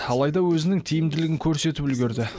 алайда өзінің тиімділігін көрсетіп үлгерді